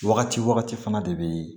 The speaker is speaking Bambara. Wagati wagati fana de be